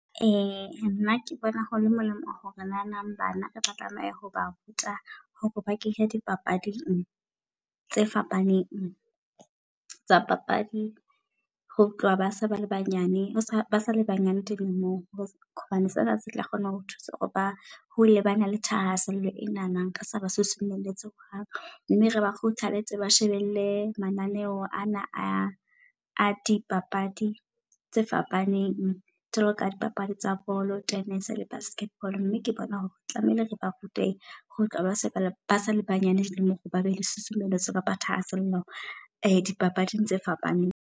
Nna ke bona ho le molemo hore na nang bana re tla tlameha ho ba ruta hore ba kene dipapading tse fapaneng tsa papadi. Ho tloha base ba le banyane ba sale banyane dilemong hobane sena se tla kgona ho thusa hore ba hole bana le thahasello enana re se ba susumeletse hohang. Mme re ba kgothaletse ba shebelle mananeo ana a a dipapadi tse fapaneng. Jwalo ka dipapadi tsa bolo, tennis le basketball. Mme ke bona hore tlamehile re ba rute ho tloha ba se bale ba sa le banyane dilemong. Hore ba be le susumeletswa kapa thahasello dipapading tse fapaneng.